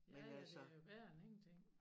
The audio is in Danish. Ja ja det jo bedre end ingenting